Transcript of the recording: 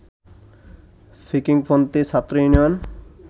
পিকিংপন্থী ছাত্র ইউনিয়নের